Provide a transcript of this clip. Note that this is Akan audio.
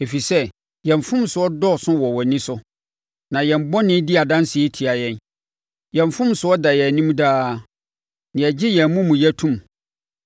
Ɛfiri sɛ, yɛn mfomsoɔ adɔɔso wɔ wʼani so, na yɛn bɔne di adanseɛ tia yɛn. Yɛn mfomsoɔ da yɛn anim daa, na yɛgye yɛn amumuyɛ to mu: